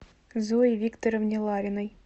зое викторовне лариной